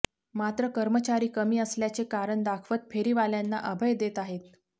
मात्र कर्मचारी कमी असल्याचे कारण दाखवत फेरीवाल्यांना अभय देत आहेत